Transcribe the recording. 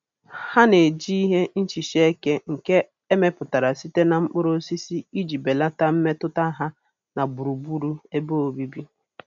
Ha na-eji ihe nhicha eke nke emeputara site na mkpuru osisi iji belata mmetụta ha na gburugburu ebe obibi.